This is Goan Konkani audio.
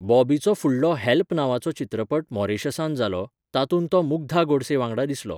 बॉबीचो फुडलो 'हॅल्प' नांवाचो चित्रपट मॉरिशसांत जालो, तातूंत तो मुग्धा गोडसे वांगडा दिसलो.